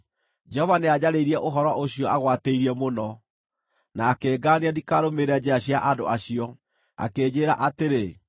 Jehova nĩanjarĩirie ũhoro ũcio agwatĩirie mũno, na akĩngaania ndikarũmĩrĩre njĩra cia andũ acio. Akĩnjĩĩra atĩrĩ: